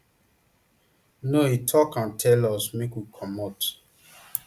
no e tok and tell us make we comot